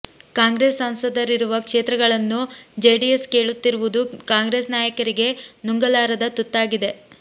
ಕಾಂಗ್ರೆಸ್ ಸಂಸದರಿರುವ ಕ್ಷೇತ್ರಗಳನ್ನು ಜೆಡಿಎಸ್ ಕೇಳುತ್ತಿರುವುದು ಕಾಂಗ್ರೆಸ್ ನಾಯಕರಿಗೆ ನುಂಗಲಾರದ ತುತ್ತಾಗಿದೆ